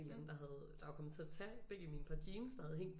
Eller anden der var kommet til at tage begge mine par jeans der havde hængt